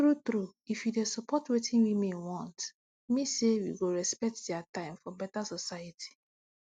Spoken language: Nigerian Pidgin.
tru tru if you dey support wetin women want mean say we go respect dia tim for beta soceity